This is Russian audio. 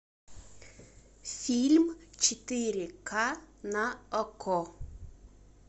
фильм четыре ка на окко